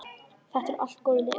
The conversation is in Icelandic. Þetta eru allt góð lið.